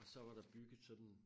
Så var der bygget sådan